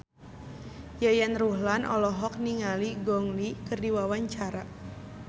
Yayan Ruhlan olohok ningali Gong Li keur diwawancara